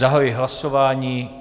Zahajuji hlasování.